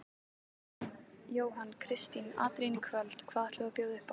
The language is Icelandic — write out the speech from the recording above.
Jóhann: Kristín, atriðin í kvöld, hvað ætlum við að bjóða upp á?